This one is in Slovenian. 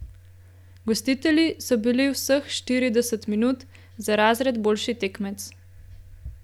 Gostitelji so bili vseh štirideset minut za razred boljši tekmec.